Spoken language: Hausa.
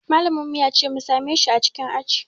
Malamin mu ya ce mu same shi a cikin aji